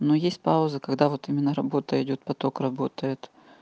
но есть пауза когда вот именно работа идёт поток работает